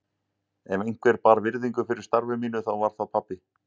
Ef einhver bar virðingu fyrir starfi mínu þá var það pabbi.